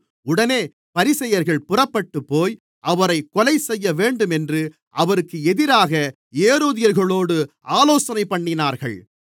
உடனே பரிசேயர்கள் புறப்பட்டுப்போய் அவரைக் கொலைசெய்யவேண்டும் என்று அவருக்கு எதிராக ஏரோதியர்களோடு ஆலோசனைபண்ணினார்கள்